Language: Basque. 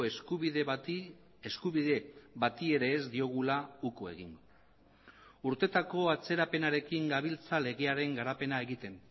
eskubide bati eskubide bati ere ez diogula uko egin urtetako atzerapenarekin gabiltza legearen garapena egiten